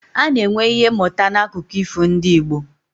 A na-enwe Ihe mụta n'akụkọ ifo ndị Igbo